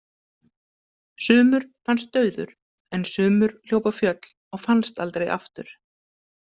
Sumur fannst dauður en sumur hljóp á fjöll og fannst aldrei aftur.